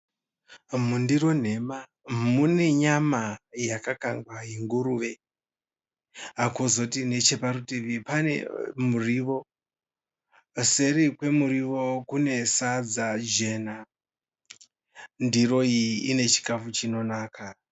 Mundiro nhema mune nyama yakakangwa yenguruve. Kozoti necheparutivi pane murio. Seri kwemurio kune sadza jena. Ndiro iyi ine chikafu chinonaka.